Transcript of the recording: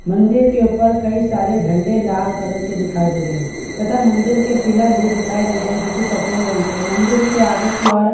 मंदिर के ऊपर कई सारे झंडे लाल कलर के दिखाई दे रहा है तथा मंदिर के पिलर भी दिखाई दे रहे हैं जो की सफेद रंग के है मंदिर के आगे की ओर --